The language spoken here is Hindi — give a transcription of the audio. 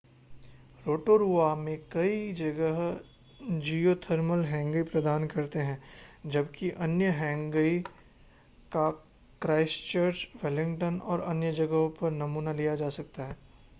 रोटोरुआ में कई जगह जिओथर्मल हैंगई प्रदान करते हैं जबकि अन्य हैंगई का क्राइस्टचर्च वेलिंगटन और अन्य जगहों पर नमूना लिया जा सकता है